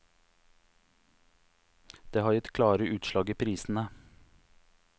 Det har gitt klare utslag i prisene.